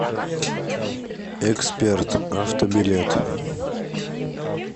эксперт авто билет